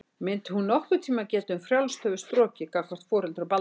Mundi hún nokkurn tíma geta um frjálst höfuð strokið gagnvart foreldrum Baldurs?